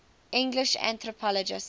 english anthropologists